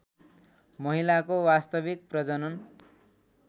महिलाको वास्तविक प्रजनन